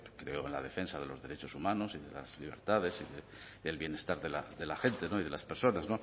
creo en la defensa de los derechos humanos en las libertades en el bienestar de la gente y de las personas